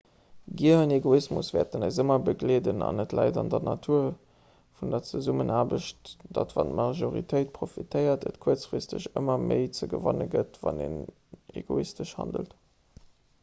gier an egoismus wäerten eis ëmmer begleeden an et läit an der natur vun der zesummenaarbecht datt wann d'majortéit profitéiert et kuerzfristeg ëmmer méi ze gewanne gëtt wann een egoistesch handelt